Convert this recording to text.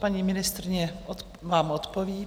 Paní ministryně vám odpoví.